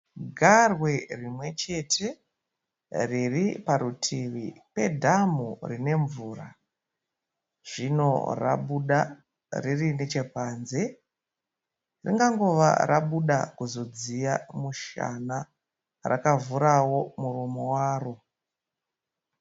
Garwe rimwe chete riri parutivi pedhamu rinemvura. Zvino rabuda riri nechepanze ringangova rabuda kuzodziya mushana, rakavhura muromo waro.